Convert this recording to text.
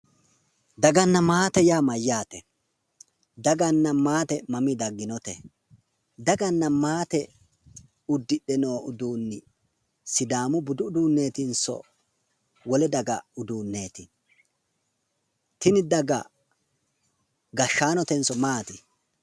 Daganna maate yaa mayyaate? Daganna maate mamii dagginote? Daganna maate uddidhe noo uduunni sidaamu budu uduunneetinso wole daga uduunneeti? Tini daga gashshaanotenso maati?